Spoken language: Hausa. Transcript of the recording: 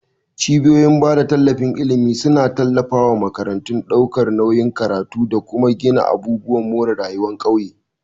Cibiyoyin bada tallafin ilimi suna tallafa wa makarantu, daukar nauyin karatu, da kuma gina abubuwan more rayuwa ƙauye.